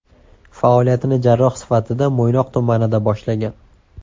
Faoliyatini jarroh sifatida Mo‘ynoq tumanida boshlagan.